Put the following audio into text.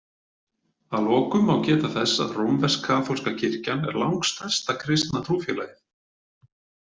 Að lokum má geta þess að rómversk-kaþólska kirkjan er langstærsta kristna trúfélagið.